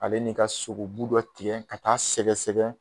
Ale nin ka sogobu dɔ tigɛ ka taa sɛgɛsɛgɛ